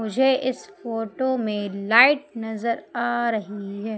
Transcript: मुझे इस फोटो में लाइट नजर आ रही है।